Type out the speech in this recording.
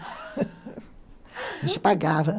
A gente pagava.